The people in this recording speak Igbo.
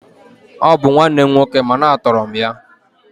Ọ bụ nwanne m nwoke mana a tọrọ m ya